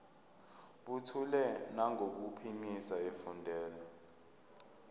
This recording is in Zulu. buthule nangokuphimisa efundela